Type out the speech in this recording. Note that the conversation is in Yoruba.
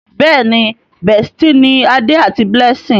Béèni bestie ní Ade àti Blessing.